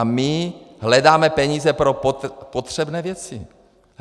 A my hledáme peníze pro potřebné věci.